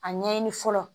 A ɲɛɲini fɔlɔ